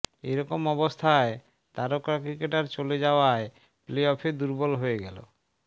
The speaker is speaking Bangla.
এরকম অবস্থায় তারকা ক্রিকেটার চলে যাওয়ায় প্লে অফে দুর্বল হয়ে গেল